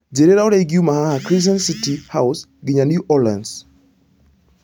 njĩriĩra ũria ingiũma haha crescent city house nginya new orleans